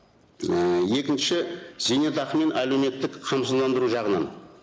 ііі екінші зейнетақы мен әлеуметтік қамсыздандыру жағынан